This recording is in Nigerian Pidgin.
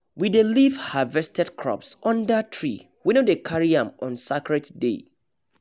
we dey leave harvested crops under tree we no dey carry am on sacred day